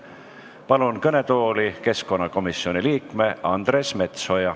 Palun kõnetooli keskkonnakomisjoni liikme Andres Metsoja.